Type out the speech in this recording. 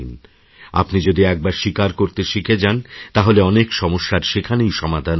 আপনি যদি একবার স্বীকার করতে শিখে যান তাহলে অনেক সমস্যার সেখানেই সমাধান হয়েযাবে